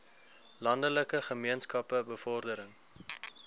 landelike gemeenskappe bevordering